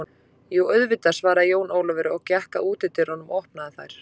Jú auðvitað, svarði Jón Ólafur og gekk að útidyrunum og opnaði þær.